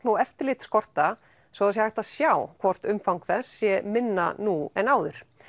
og eftirlit skorta svo hægt sé að sjá hvort umfang þess sé minna nú en áður